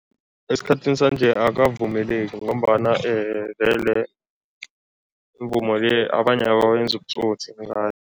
Esikhathini sanje akavumeleki ngombana vele imivumo le, abanye ubutsotsi